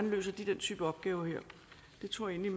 løser den type opgaver her det tror jeg